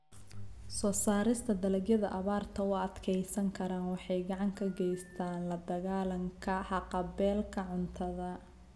Soo saarista dalagyada abaarta u adkeysan kara waxay gacan ka geystaan ??la dagaalanka haqab-beelka cuntada.